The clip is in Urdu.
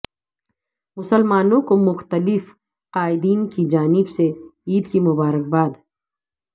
مسلمانوں کو مختلف قائدین کی جانب سے عیدکی مبارکباد